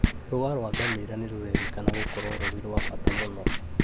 Rũa rwa ngamĩra nĩrũrerĩkana gũkorwo rũrĩ rwa bata mũno